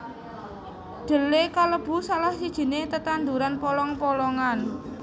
Dhelé kalebu salah sijiné tetanduran polong polongan